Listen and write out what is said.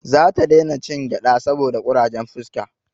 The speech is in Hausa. Za ta dai na cin gyada saboda kurajen fuska